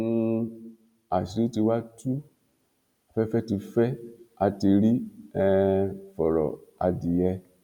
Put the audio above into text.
um àṣírí tí wàá tú afẹfẹ tí fẹ á ti rí um fọrọ adìyẹ